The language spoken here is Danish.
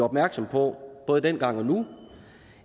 opmærksom på både dengang og nu